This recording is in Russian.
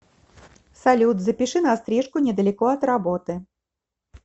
салют запиши на стрижку недалеко от работы